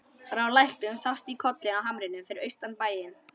Frá læknum sást í kollinn á hamrinum fyrir austan bæinn.